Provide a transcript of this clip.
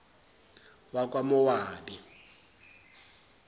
wakwamowabi